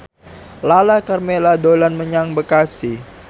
Lala Karmela dolan menyang Bekasi